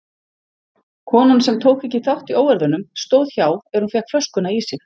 Konan sem tók ekki þátt í óeirðunum stóð hjá er hún fékk flöskuna í sig.